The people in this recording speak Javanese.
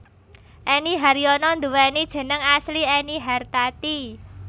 Enny Haryono nduwéni jeneng asli Ennie Hartati